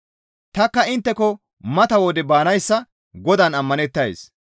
Tanikka intteko mata wode baanayssa Godaan ammanettays.